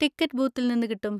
Ticket ബൂത്തിൽന്ന് കിട്ടും.